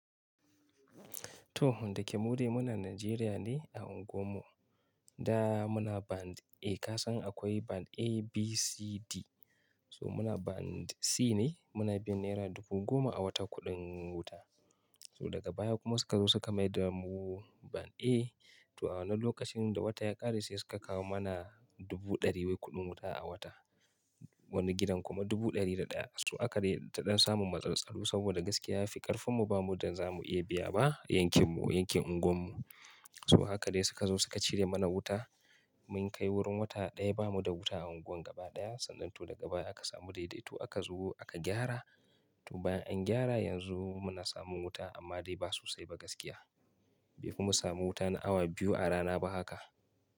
To, dake mude muna Najeriya ne a unguwarmu. Da, muna band A, ka san akwai band A, B, C, D. So muna band C ne, muna biyan naira dubu goma a wata kuɗin wuta. So daga baya kuma suka zo su ka maida mu band A, to awannan lokacin da wata ya ƙare sai suka kawo mana dubu ɗari wai kuɗin wuta a wata. Wani gidan kuma dubu ɗari da ɗaya. To aka dai ta ɗan samun matsaltsalu saboda gaskiya ya fi ƙarfinmu bamu da, zamu iya biya ba yankinmu, yankin unguwarmu. So haka dai suka zo suka cire mana wuta. Mun kai wurin wata ɗaya ba mu da wuta a unguwan gaba ɗaya. Sannan to daga baya aka samu daidaito aka zo aka gyara. To bayan an gyara yanzu muna samun wuta amma dai ba sosai ba gaskiya. Bai fi mu samu wuta na awa biyu a rana ba haka,